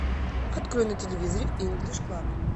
открой на телевизоре инглиш клаб